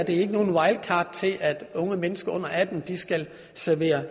et wildcard til at unge mennesker under atten skal servere